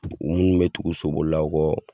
u munnu bɛ tugu sobolilaw kɔ.